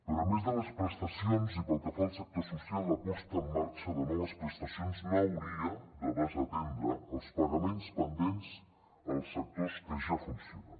però a més de les prestacions i pel que fa al sector social la posada en marxa de noves prestacions no hauria de desatendre els pagaments pendents als sectors que ja funcionen